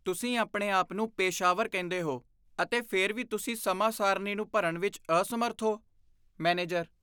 ਤੁਸੀਂ ਆਪਣੇ ਆਪ ਨੂੰ ਪੇਸ਼ਾਵਰ ਕਹਿੰਦੇ ਹੋ ਅਤੇ ਫਿਰ ਵੀ ਤੁਸੀਂ ਸਮਾਂ ਸਾਰਣੀ ਨੂੰ ਭਰਨ ਵਿੱਚ ਅਸਮਰੱਥ ਹੋ ਮੈਨੇਜਰ